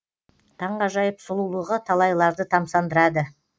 таңғажайып сұлулығы талайларды тамсандырады